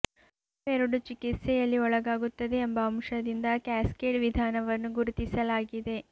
ರಕ್ತವು ಎರಡು ಚಿಕಿತ್ಸೆಯಲ್ಲಿ ಒಳಗಾಗುತ್ತದೆ ಎಂಬ ಅಂಶದಿಂದ ಕ್ಯಾಸ್ಕೇಡ್ ವಿಧಾನವನ್ನು ಗುರುತಿಸಲಾಗಿದೆ